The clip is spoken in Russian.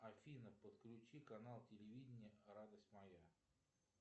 афина подключи канал телевидения радость моя